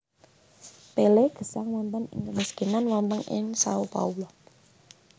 Pelé gesang wonten ing kemiskinan wonten ing Sao Paulo